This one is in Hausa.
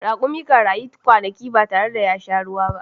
Rakumi kan rayu kwanaki ba tare ya sha ruwa ba.